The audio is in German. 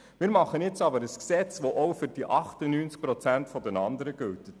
Wir machen aber ein Gesetz, welches auch für die anderen 98 Prozent gilt.